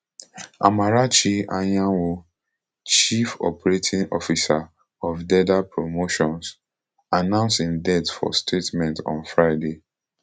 ammarachi anyanwu chief operating officer of derda promotions announce im death for statement on friday